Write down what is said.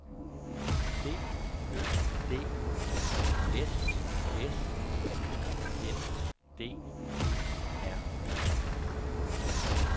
D Ø D S S Y N D E R